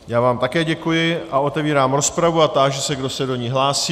Já vám také děkuji a otevírám rozpravu a táži se, kdo se do ní hlásí.